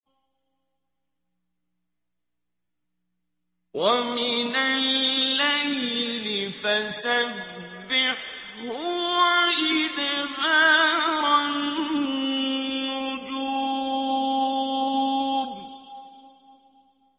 وَمِنَ اللَّيْلِ فَسَبِّحْهُ وَإِدْبَارَ النُّجُومِ